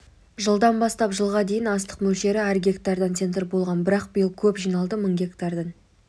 жылдан бастап жылға дейін астық мөлшері әр гектардан центр болған бірақ биыл көп жиналды мың гектардан